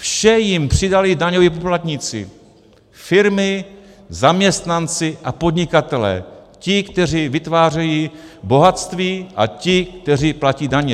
Vše jim přidali daňoví poplatníci - firmy, zaměstnanci a podnikatelé, ti, kteří vytvářejí bohatství, a ti, kteří platí daně.